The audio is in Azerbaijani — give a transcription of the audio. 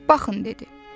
Baxın dedi.